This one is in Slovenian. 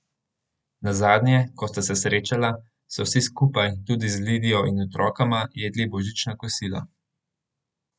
Nazadnje, ko sta se srečala, so vsi skupaj, tudi z Lidijo in otrokoma, jedli božično kosilo.